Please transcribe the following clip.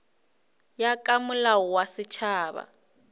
ya ka molao wa setšhaba